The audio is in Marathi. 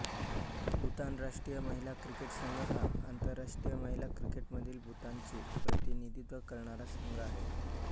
भूतान राष्ट्रीय महिला क्रिकेट संघ हा आंतरराष्ट्रीय महिला क्रिकेटमध्ये भूतानचे प्रतिनिधित्व करणारा संघ आहे